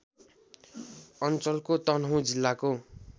अञ्चलको तनहुँ जिल्लाको